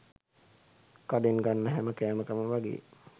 කඩෙන් ගන්න හැම කෑමකම වගේ